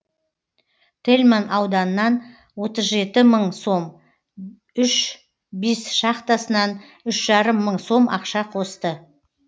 тельман ауданынан отыз жеті мың сом үш бис шахтасынан үш жарым мың сом ақша қосты